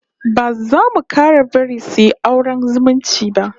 Ba za mu 'kara bari suyi auren zumunci ba